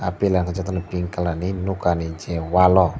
pilar wngka jotono pink colour ni nwkha ni je wal o.